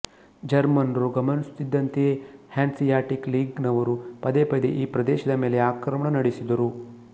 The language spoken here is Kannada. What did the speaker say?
ಜರ್ಮನ್ ರು ಗಮನಿಸುತ್ತಿದ್ದಂತೆಯೇ ಹ್ಯಾನ್ಸಿಯಾಟಿಕ್ ಲೀಗ್ ನವರು ಪದೇ ಪದೇ ಈ ಪ್ರದೇಶದ ಮೇಲೆ ಆಕ್ರಮಣ ನಡೆಸಿದರು